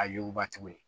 A yuguba tuguni